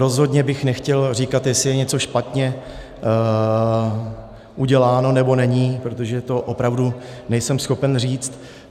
Rozhodně bych nechtěl říkat, jestli je něco špatně uděláno, nebo není, protože to opravdu nejsem schopen říct.